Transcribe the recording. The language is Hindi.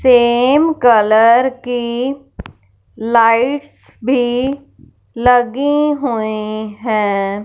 सेम कलर की लाइट्स भी लगी हुईं हैं।